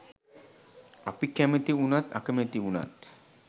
අපි කැමති උනත් අකමැති උනත්